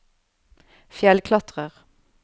fjellklatrer